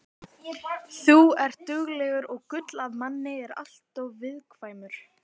Þú ert duglegur og gull af manni en alltof viðkvæmur.